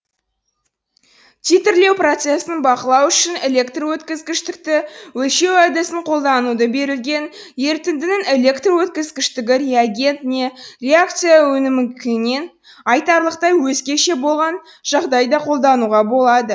титрлеу процесін бақылау үшін электр өткізгіштікті өлшеу әдісін колдануды берілген ерітіндінің электр өткізгіштігі реагент не реакция өнімінікінен айтарлықтай өзгеше болған жағдайда қолдануға болады